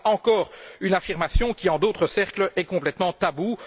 Voilà encore une affirmation qui, en d'autres cercles, est complètement taboue.